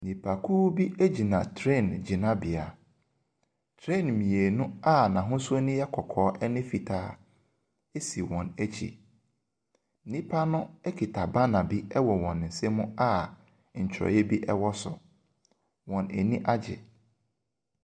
Nnipa bi gyina train gyinabea. Train mmienu a n'ahosu no yɛ kɔkɔɔ ne fitaa si wɔn akyi. Nnipa no kita banner bi wɔ wɔn nsam a nkyerɛwee bi wɔ so. Wɔn ani agye.